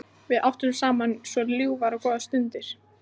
Við áttum saman svo ljúfar og góðar stundir.